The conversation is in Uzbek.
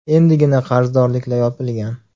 Endigina qarzdorliklar yopilgan.